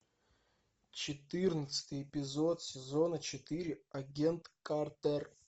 четырнадцатый эпизод сезона четыре агент картер